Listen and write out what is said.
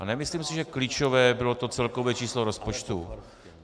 A nemyslím si, že klíčové bylo to celkové číslo rozpočtu.